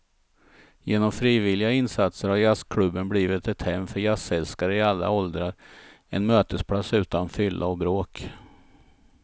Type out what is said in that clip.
Genom frivilliga insatser har jazzklubben blivit ett hem för jazzälskare i alla åldrar, en mötesplats utan fylla och bråk.